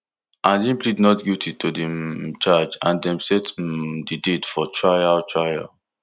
and im plead not guilty to di um charge and dem set um di date for trial trial